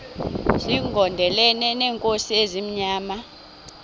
zigondelene neenkosi ezimnyama